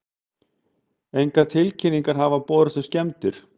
Engar tilkynningar hafa borist um skemmdir